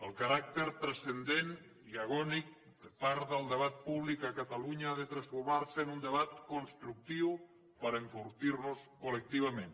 el caràcter transcendent i agònic de part del debat públic a catalunya ha de transformar se en un debat constructiu per enfortir nos col·lectivament